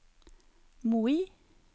Moi